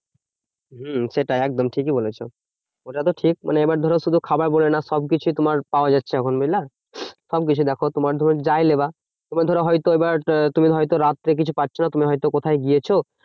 হম সেটাই একদম ঠিকই বলেছো। ওটা তো ঠিক মানে এবার ধরো শুধু খাবার বলে না সবকিছুই তোমার পাওয়া যাচ্ছে এখন, বুঝলা? সবকিছু দেখো তোমার ধরো যাই লেবা। তোমার ধরো হয়তো এবার আহ তুমি হয়তো রাত্রে কিছু পাচ্ছো না। তুমি হয়তো কোথায় গিয়েছো